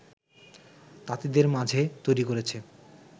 তাঁতিদের মাঝে তৈরি করেছে